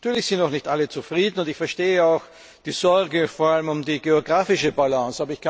Natürlich sind noch nicht alle zufrieden, und ich verstehe auch die Sorge, vor allem um die geografische Balance.